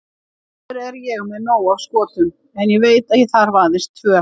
Sjálfur er ég með nóg af skotum en ég veit að ég þarf aðeins tvö.